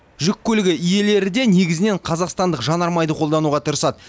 жүк көлігі иелері де негізінен қазақстандық жанармайды қолдануға тырысады